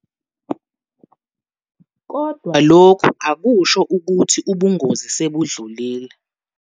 Kodwa lokhu akusho ukuthi ubungozi sebudlulile.